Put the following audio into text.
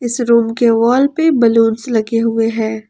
इस रूम के वॉल पे बलूंस लगे हुए हैं।